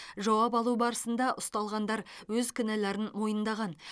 жауап алу барысында ұсталғандар өз кінәларын мойындаған